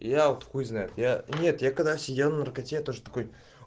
я вот хуй знает я нет я когда сидел на наркоте я тоже такой